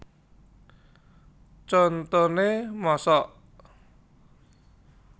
Contone Mosok